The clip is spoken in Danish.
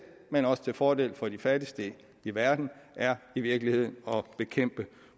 men også til fordel for de fattigste i verden er i virkeligheden at bekæmpe